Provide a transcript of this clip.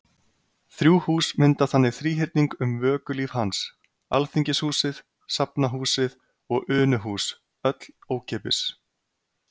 Þrjú hús mynda þannig þríhyrning um vökulíf hans: Alþingishúsið, Safnahúsið og Unuhús- öll ókeypis.